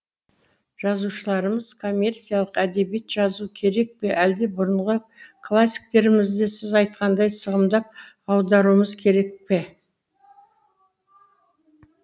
жазушыларымыз коммерциялық әдебиет жазу керек пе әлде бұрынғы классиктерімізді сіз айтқандай сығымдап аударуымыз керек пе